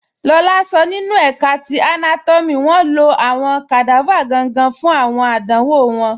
Lọlá sọ nínu ẹ̀ká ti anátọ́mì wọn ló awọn kadava gangan fun awọn àdánwọ̀ wọn